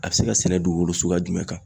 A bɛ se ka sɛnɛ dugukolo suguya jumɛn kan?